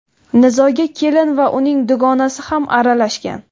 Nizoga kelin va uning dugonasi ham aralashgan.